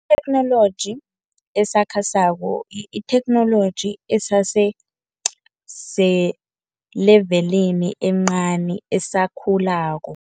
Itheknoloji esakhasako itheknoloji esese selevelini encani esakhulako.